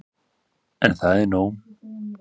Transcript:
En er það nóg